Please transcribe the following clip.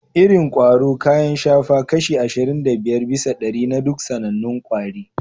Irin ƙwaro kayan shafa kashi ashirin da biyar bisa ɗari na duk sanannun kwari